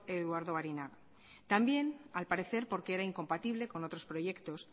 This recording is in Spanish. eduardo barinaga también al parecer porque era incompatible con otros proyectos